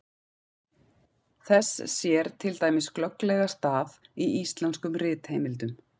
þess sér til dæmis glögglega stað í íslenskum ritheimildum